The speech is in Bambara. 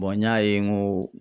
n y'a ye n ko